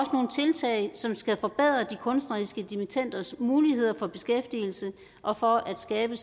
tiltag som skal forbedre de kunstneriske dimittenders muligheder for beskæftigelse og for at skabe